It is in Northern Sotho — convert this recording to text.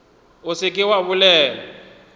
o se ke wa bolela